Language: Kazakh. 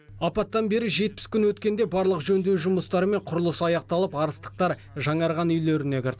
апаттан бері жетпіс күн өткенде барлық жөндеу жұмыстары мен құрылысы аяқталып арыстықтар жаңарған үйлеріне кірді